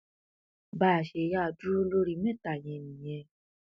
bá a ṣe yáa dúró lórí mẹta yẹn nìyẹn